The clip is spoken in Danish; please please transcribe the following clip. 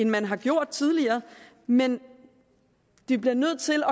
man har gjort tidligere men vi bliver nødt til